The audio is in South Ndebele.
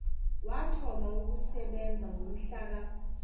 wathoma ukusebenza ngomhlaka